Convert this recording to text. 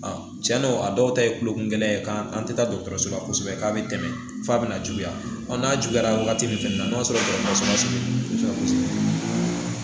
Cɛn don a dɔw ta ye kulokungɛlɛya ye k'an tɛ taa dɔgɔtɔrɔso la kosɛbɛ k'a bɛ tɛmɛ f'a bɛ na juguya n'a juguyara wagati min fɛnɛ na n'a sɔrɔ dɔgɔtɔrɔso ninnu kosɛbɛ